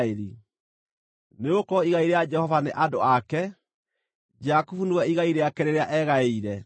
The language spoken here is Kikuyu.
Nĩ gũkorwo igai rĩa Jehova nĩ andũ ake, Jakubu nĩwe igai rĩake rĩrĩa eegaĩire.